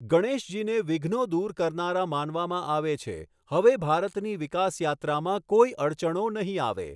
ગણેશજીને વિઘ્નો દૂર કરનારા માનવામાં આવે છે, હવે ભારતની વિકાસ યાત્રામાં કોઈ અડચણો નહીં આવે.